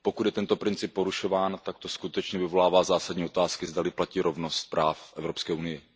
Pokud je tento princip porušován, tak to skutečně vyvolává zásadní otázky, zdali platí rovnost práv v Evropské unii.